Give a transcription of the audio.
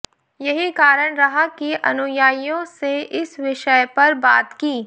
यही कारण रहा कि अनुयायियों से इस विषय पर बात की